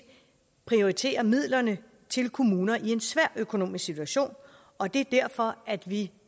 prioritere midlerne til kommuner i en svær økonomisk situation og det er derfor at vi